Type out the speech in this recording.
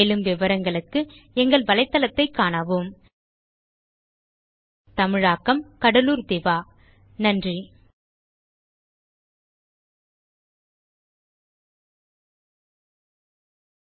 மேலும் விவரங்களுக்கு spoken hyphen tutorial dot org slash NMEICT hyphen intro தமிழாக்கம் கடலூர் திவா நன்றி